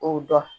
O dɔn